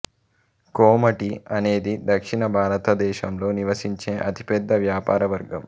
కోమటి అనేది దక్షిణ భారతదేశంలో నివసించే అతి పెద్ద వ్యాపార వర్గం